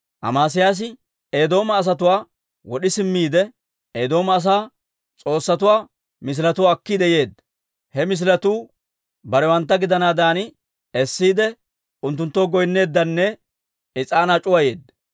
Amesiyaasi Eedooma asatuwaa wod'i simmiide, Eedooma asaa s'oossatuwaa misiletuwaa akkiide yeedda. He misiletuu barewantta gidanaadan essiide, unttunttoo goynneeddanne is'aanaa c'uwayeedda.